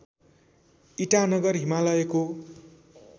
ईटानगर हिमालयको